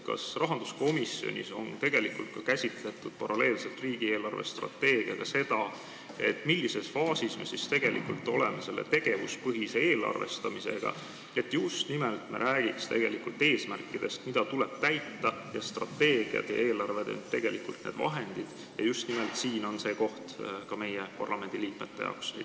Kas rahanduskomisjonis on paralleelselt riigi eelarvestrateegiaga käsitletud seda, millises faasis me oleme selle tegevuspõhise eelarvestamisega, et me räägiksime just nimelt eesmärkidest, mida tuleb täita, pidades silmas, et strateegiad ja eelarved on tegelikult need vahendid, ning just nimelt siin on see koht ka meie, parlamendiliikmete jaoks?